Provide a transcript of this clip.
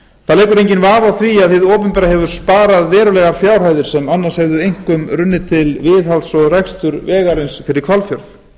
það leikur enginn vafi á því að hið opinbera hefur sparað verulegar fjárhæðir sem annars vegar hefðu einkum runnið til viðhalds og reksturs vegarins fyrir hvalfjörð við höfum